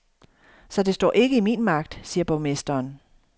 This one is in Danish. Så det står ikke i min magt, siger borgmesteren.